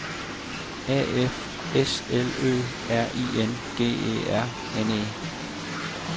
A F S L Ø R I N G E R N E